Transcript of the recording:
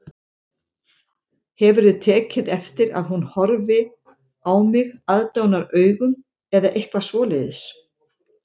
Hefurðu tekið eftir að hún horfi á mig aðdáunaraugum eða eitthvað svoleiðis